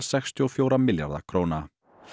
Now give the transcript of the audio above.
sextíu og fjögurra milljarða króna